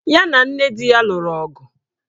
Ya na nne di ya lụrụ ọgụ.